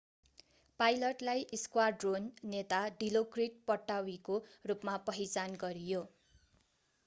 पाइलटलाई squadron नेता डिलोक्रिट पट्टावीको रूपमा पहिचान गरियो